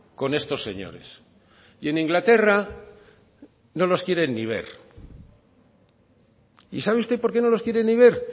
con estos señores y en inglaterra no los quieren ni ver y sabe usted por qué no los quieren ni ver